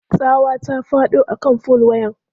Tsawa ta faɗo a kan fol wayan.